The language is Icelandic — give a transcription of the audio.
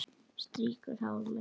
Strýkur hár mitt.